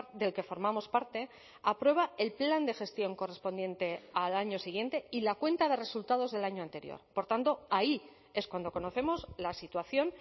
del que formamos parte aprueba el plan de gestión correspondiente al año siguiente y la cuenta de resultados del año anterior por tanto ahí es cuando conocemos la situación